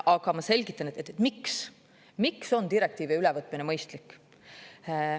Aga ma selgitan, miks on direktiivi ülevõtmine mõistlik.